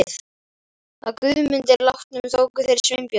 Að Guðmundi látnum tóku þeir Sveinbjörn